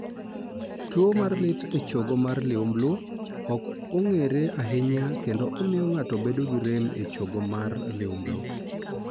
Tuo mar lit e chogo mar liumblu ok ong'ere ahinya kendo omiyo ng'ato bedo gi rem e chogo mar liumblu